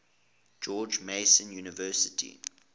george mason university